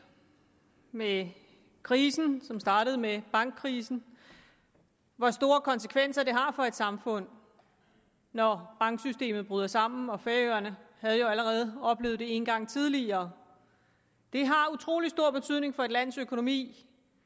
med krisen som startede med bankkrisen hvor store konsekvenser det har for et samfund når banksystemet bryder sammen og færøerne havde jo allerede oplevet det en gang tidligere det har utrolig stor betydning for et lands økonomi